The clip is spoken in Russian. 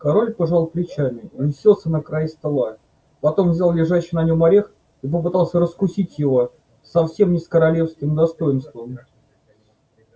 король пожал плечами и уселся на край стола потом взял лежащий на нём орех и попытался раскусить его совсем не с королевским достоинством